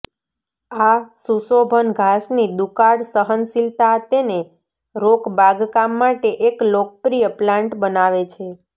આ સુશોભન ઘાસની દુકાળ સહનશીલતા તેને રોક બાગકામ માટે એક લોકપ્રિય પ્લાન્ટ બનાવે છે